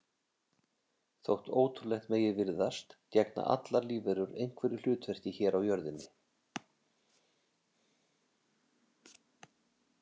Þótt ótrúlegt megi virðast gegna allar lífverur einhverju hlutverki hér á jörðinni.